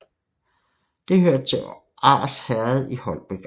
Det hørte til Ars Herred i Holbæk Amt